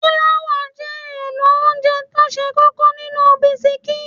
Fláwà jẹ́ èlò óńjẹ tó ṣe kókó nínú bisikí.